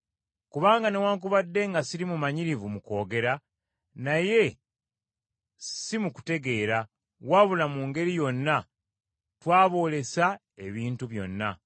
Kubanga newaakubadde nga siri mumanyirivu mu kwogera, naye si mu kutegeera, wabula mu ngeri yonna twaboolesa ebintu byonna.